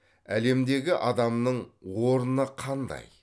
әлемдегі адамның орны қандай